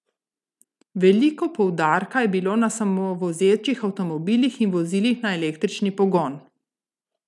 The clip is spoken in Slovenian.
Veliko poudarka je bilo na samovozečih avtomobilih in vozilih na električni pogon.